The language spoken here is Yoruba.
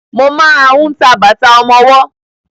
Mo máa ń ta bàtà ọmọwọ́.